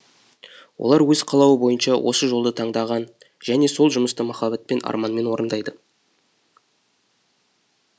олар өз қалауы бойынша осы жолды таңдаған және сол жұмысты махаббатпен арманмен орындайды